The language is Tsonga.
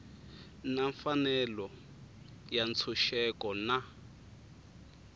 na mfanelo ya ntshunxeko na